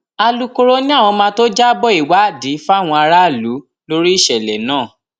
alūkkóró ni àwọn máa tóó jábọ ìwádìí fáwọn aráàlú lórí ìṣẹlẹ náà